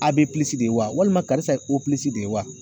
A de walima karisa ye de ye wa.